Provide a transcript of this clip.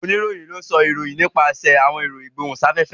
Onirohin ló sọ àwọn ìròyìn nípasẹ awọn èro igbohunsafefe.